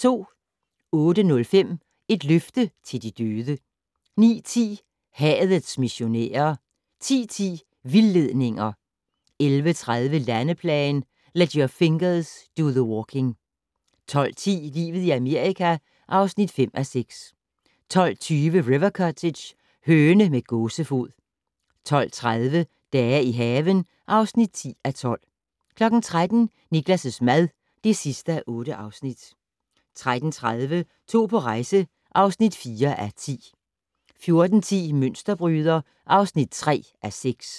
08:05: Et løfte til de døde 09:10: Hadets missionærer 10:10: Vildledninger 11:30: Landeplagen - "Let your fingers do the walking" 12:10: Livet i Amerika (5:6) 12:20: River Cottage - høne med gåsefod 12:30: Dage i haven (10:12) 13:00: Niklas' mad (8:8) 13:30: To på rejse (4:10) 14:10: Mønsterbryder (3:6)